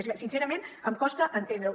és que sincerament em costa entendre ho